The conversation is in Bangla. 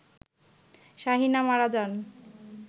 শাহীনা মারা যান